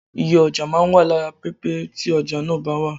Iye ọjà máa ń wà lára pẹpẹ tí ọjà náà bá wà.